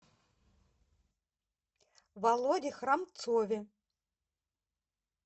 володе храмцове